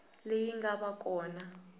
leyi nga va ka kona